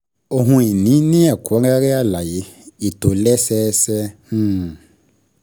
Ohun ìní ní ẹ̀kúnrẹ́rẹ́ alaye, ìtòlẹ́sẹẹsẹ. um